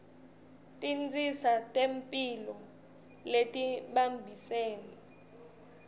tinsita tetemphilo letibambisene